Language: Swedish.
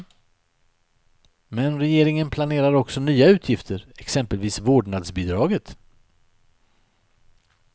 Men regeringen planerar också nya utgifter, exempelvis vårdnadsbidraget.